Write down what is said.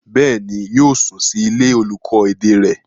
Bẹ́ẹ̀ni, yóò sùn sí ilé olùkọ́ èdè rẹ̀.